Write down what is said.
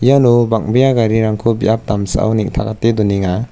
iano bang·bea garirangko biap damsao neng·takate donenga.